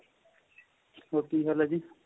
ਹੋਰ ਕਿ ਹਾਲ ਏ ਜੀ